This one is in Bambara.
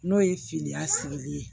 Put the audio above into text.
N'o ye filiya sigili ye